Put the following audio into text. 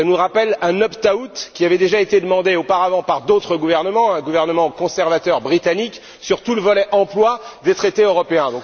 Cela nous rappelle un opt out qui avait déjà demandé auparavant par d'autres gouvernements, un gouvernement conservateur britannique, sur tout le volet emploi des traités européens.